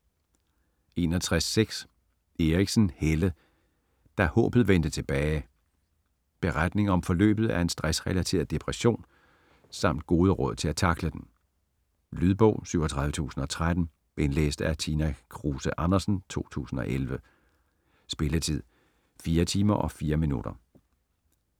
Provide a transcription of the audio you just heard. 61.6 Eriksen, Helle: Da håbet vendte tilbage Beretning om forløbet af en stressrelateret depression samt gode råd til at tackle den. Lydbog 37013 Indlæst af Tina Kruse Andersen, 2011. Spilletid: 4 timer, 4 minutter.